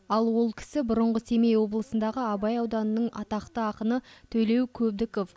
ал ол кісі бұрынғы семей облысындағы абай ауданының атақты ақыны төлеу көбдіков